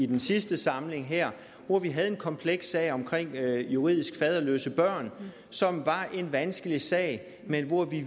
den sidste samling her hvor vi havde en kompleks sag om juridisk faderløse børn som var en vanskelig sag men hvor vi